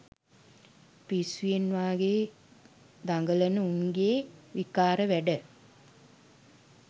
පිස්සුවෙන් වගේ දගලන උන්ගේ විකාර වැඩ